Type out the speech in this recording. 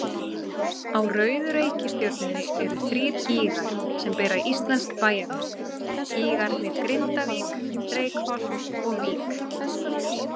Á rauðu reikistjörnunni eru þrír gígar sem bera íslensk bæjarnöfn, gígarnir Grindavík, Reykholt og Vík.